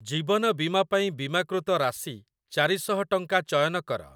ଜୀବନ ବୀମା ପାଇଁ ବୀମାକୃତ ରାଶି ଚାରି ଶହ ଟଙ୍କା ଚୟନ କର।